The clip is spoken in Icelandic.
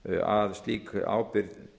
að slík ábyrgð